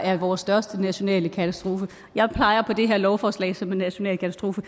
er vores største nationale katastrofe jeg peger på det her lovforslag som en national katastrofe